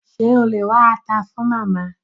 Ṣé o lè wá ata fun Màmá?